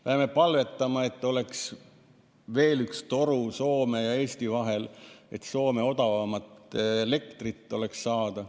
Peame palvetama, et oleks veel üks toru Soome ja Eesti vahel, et Soome odavamat elektrit oleks saada.